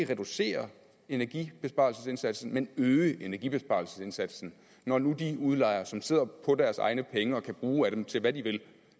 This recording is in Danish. reducere energibesparelsesindsatsen men øge energibesparelsesindsatsen når nu de udlejere som sidder på deres egne penge og kan bruge af dem til hvad de vil